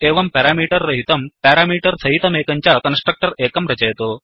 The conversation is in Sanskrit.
एवं पेरमीटर् रहितमेकं पेरामीटर् सहितमेकं च कन्स्ट्रक्टर् एकं रचयतु